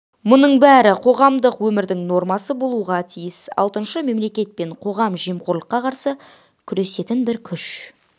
мұның бәрі қоғамдық өмірдің нормасы болуға тиіс алтыншы мемлекет пен қоғам жемқорлыққа қарсы күресетін бір күш